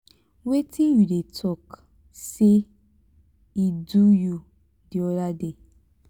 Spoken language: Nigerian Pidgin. wetin you dey talk say e do you di other day?